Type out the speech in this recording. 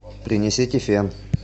принесите фен